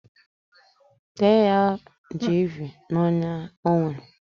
Tee ya jiivii n'onya ọ nwere.